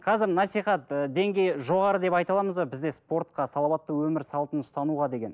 қазір насихат деңгейі жоғары деп айта аламыз ба бізде спортқа салауатты өмір салтын ұстануға деген